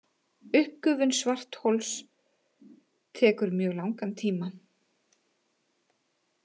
Uppgufun svarthols tekur mjög langan tíma.